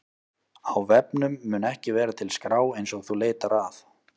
Á vefnum mun ekki vera til skrá eins og þú leitar að.